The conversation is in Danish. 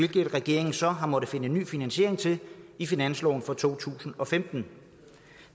regeringen så har måttet finde ny finansiering til i finansloven for to tusind og femten